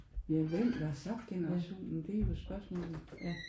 Ja hvem var subgenerationen? Det er jo spørgsmålet ja